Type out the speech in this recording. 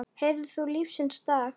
Heyrðir þú lífsins lag?